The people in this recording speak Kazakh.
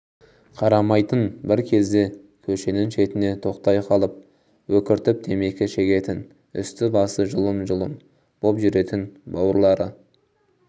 қарамайтын бір кезде көшенің шетіне тоқтай қалып өкіртіп темекі шегетін үсті-басы жұлым-жұлым боп жүретін бауырлары